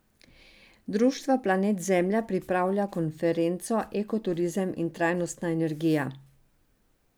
Društvo Planet Zemlja pripravlja konferenco Eko turizem in trajnostna energija.